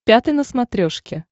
пятый на смотрешке